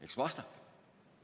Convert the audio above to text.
Eks vastake!